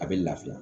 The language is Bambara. A bɛ lafiya